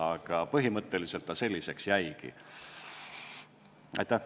Aga põhimõtteliselt selliseks see tekst jäigi.